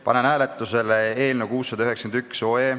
Panen hääletusele eelnõu 691.